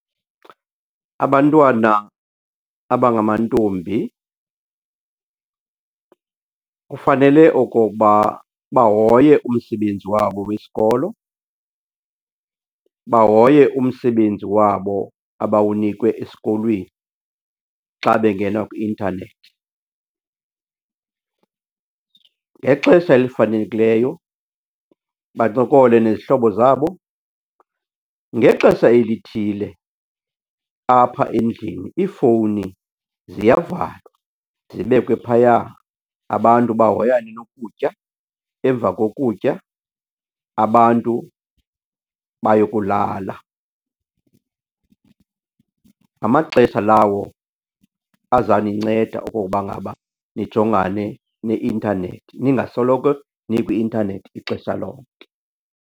Abantwana abangamantombi kufanele okoba bahoye umsebenzi wabo wesikolo, bahoye umsebenzi wabo abawunikwe esikolweni xa bengena kwi-intanethi. Ngexesha elifanelekileyo bancokole nezihlobo zabo. Ngexesha elithile apha endlini iifowuni ziyavalwa zibekwe phaya, abantu bahoyane nokutya. Emva kokutya, abantu bayokulala. Ngamaxesha lawo azaninceda okokuba ngaba nijongane neintanethi, ningasoloko nikwi-intanethi ixesha lonke.